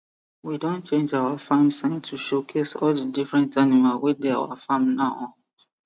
we don change our farm sign to show case all di different animal wey dey our farm now